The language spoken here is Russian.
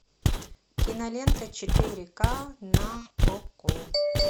кинолента четыре ка на окко